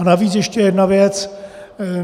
A navíc ještě jedna věc.